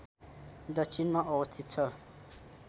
दक्षिणमा अवस्थित छ